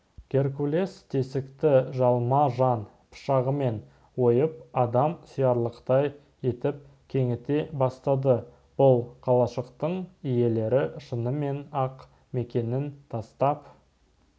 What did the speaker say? геркулес тесікті жалма-жан пышағымен ойып адам сиярлықтай етіп кеңіте бастады бұл қалашықтың иелері шынымен-ақ мекенін тастап